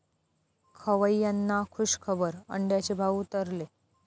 खवय्यांना खूशखबर, अंड्याचे भाव उतरले